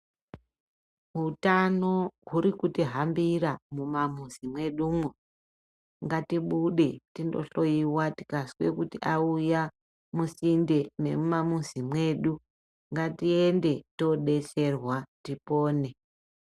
Hutano hurikutihambira mumamuzi medu umu. Ngatibude tinohloyiwa tikaswe kuti auya musinde nemumamuzi mwedu. Ngatiyende todetserwa tipone.